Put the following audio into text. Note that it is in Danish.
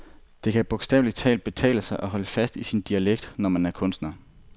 Det kan bogstaveligt talt betale sig at holde fast i sin dialekt, når man er kunstner.